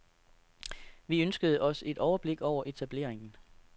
Vi ønskede os et overblik over etableringen.